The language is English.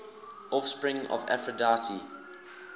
offspring of aphrodite